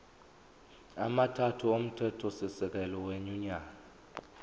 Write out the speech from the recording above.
amathathu omthethosisekelo wenyunyane